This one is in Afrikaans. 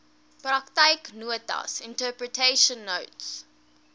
praktyknotas interpretation notes